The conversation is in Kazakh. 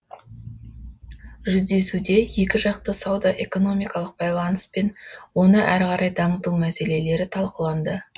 жүздесуде екіжақты сауда экономикалық байланыс пен оны әрі қарай дамыту мәселелері талқыланды